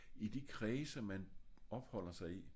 I de kredse man opholder sig i